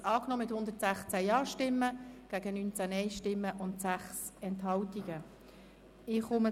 Sie haben den Antrag von SiK und Regierung mit 116 Ja- gegen 19 Nein-Stimmen bei 6 Enthaltungen angenommen.